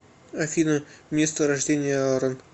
афина место рождения аарон